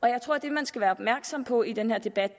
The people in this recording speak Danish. jeg tror at det man skal være opmærksom på i den her debat